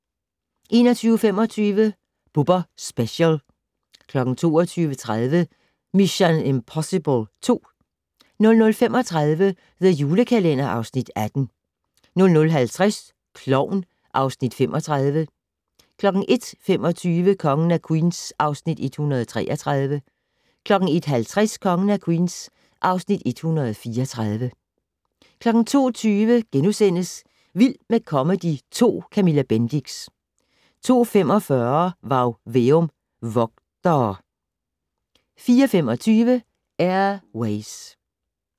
21:25: Bubber Special 22:30: Mission: Impossible 2 00:35: The Julekalender (Afs. 18) 00:50: Klovn (Afs. 35) 01:25: Kongen af Queens (Afs. 133) 01:50: Kongen af Queens (Afs. 134) 02:20: Vild med comedy 2 - Camilla Bendix * 02:45: Varg Veum - Vogtere 04:25: Air Ways